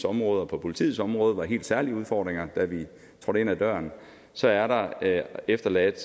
område og på politiets område var nogle helt særlige udfordringer da vi trådte ind ad døren så er der efterladt